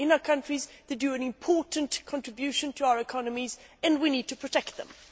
They are in our countries and make an important contribution to our economies. We need to protect them.